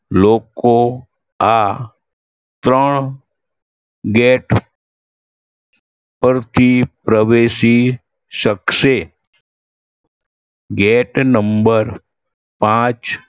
લોકો આ ત્રણ gate પરથી પ્રવેશી શકશે. gate number પાંચ